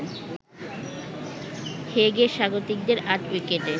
হেগে স্বাগতিকদের ৮ উইকেটে